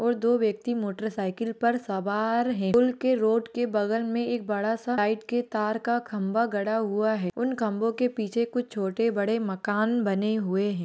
दो व्यक्ति मोटरसाइकिल पर सवार हैं। पुल के रोड के बगल में एक बड़ा सा लाइट के तार का खंभा गड़ा हुआ है। उन खम्भों के पीछे कुछ छोटे-बड़े मकान बने हुए हैं।